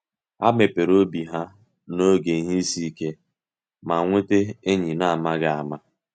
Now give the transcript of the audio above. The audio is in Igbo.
Há mepere obi ha n’oge ihe isi ike, ma nweta enyi an’amaghị ama.